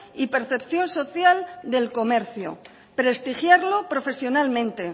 y percepción social del comercio prestigiarlo profesionalmente